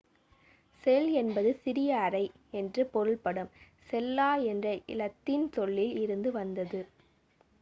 செல் என்பது சிறிய அறை என்று பொருள்படும் செல்லா என்ற இலத்தீன் சொல்லில் இருந்து வந்தது